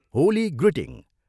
Holi greeting.